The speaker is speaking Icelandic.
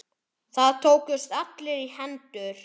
Þeir tókust allir í hendur.